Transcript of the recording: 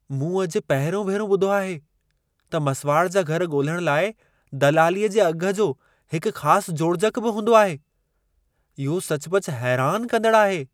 मूं अॼु पहिरियों भेरो ॿुधो आहे त मसिवाड़ जा घर ॻोल्हण लाइ दलालीअ जे अघ जो हिक ख़ास जोड़जक बि हूंदो आहे। इहो सचुपचु हैरान कंदड़ आहे।